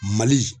Mali